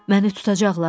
Məni tutacaqlar?